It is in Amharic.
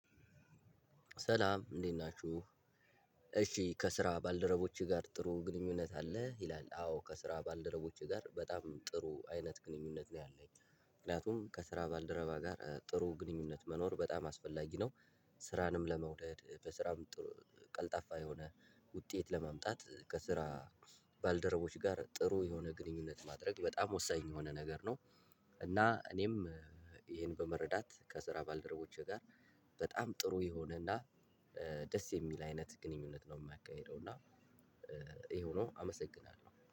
ሰላም እንዴት ናችሁ? እሺ ከስራ ባልደረቦችህ ጋር ጥሩ ግንኙነት አለህ? ይላል አዎ ከስራ ባልደረቦቼ ጋር በጣም ጥሩ አይነት ግንኙነት ነው ያለኝ ምክንያቱም ከስራ ባልደረባ ጋር ጥሩ ግንኙነት መኖር በጣም አስፈላጊ ነው። ስራንም ለመውደድ በስራም ቀልጣፋ የሆነ ውጤት ለማምጣት ከስራ ባልደረቦች ጋር ጥሩ የሆነ ግንኙነት ማድረግ በጣም ወሳኝ የሆነ ነገር ነው። እና እኔም ይሄን በመረዳት ከስራ ባልደረቦቼ ጋር በጣም ጥሩ የሆነና ደስ የሚል አይነት ግንኙነት ነው የማ ካሒደው እና ይሄው ነው አመሰግናለሁ